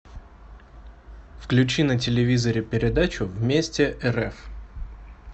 включи на телевизоре передачу вместе рф